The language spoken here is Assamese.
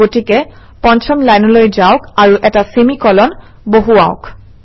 গতিকে পঞ্চম লাইনলৈ যাওক আৰু এটা চেমি কোলন বহুৱাওক